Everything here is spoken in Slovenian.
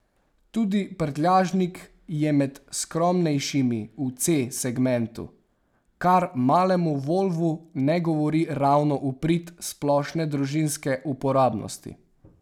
Tudi prtljažnik je med skromnejšimi v C segmentu, kar malemu volvu ne govori ravno v prid splošne družinske uporabnosti.